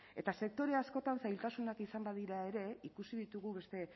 eta sektore askotan zailtasunak izan badira ere ikusi ditugu beste